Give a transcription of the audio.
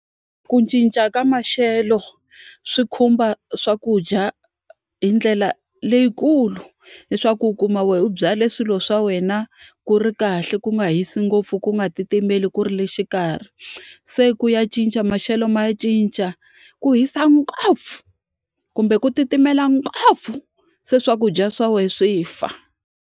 Ku cinca ka maxelo swi khumba swakudya hi ndlela leyikulu. Leswaku u kuma wena u byale swilo swa wena ku ri kahle ku nga hisi ngopfu ku nga titimeli ku ri le xikarhi, se ku ya cinca maxelo ma cinca, ku hisa ngopfu kumbe ku titimela ngopfu se swakudya swa wena swi fa.